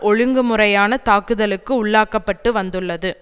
ஒழுங்கு முறையான தாக்குதலுக்கு உள்ளாக்க பட்டு வந்துள்ளது